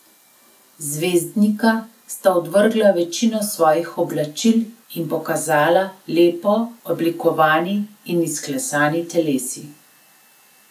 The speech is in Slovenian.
Zvezdnika sta odvrgla večino svojih oblačil in pokazala lepo oblikovani in izklesani telesi.